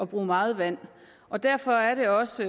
bruge meget vand og derfor er det også